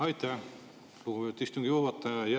Aitäh, lugupeetud istungi juhataja!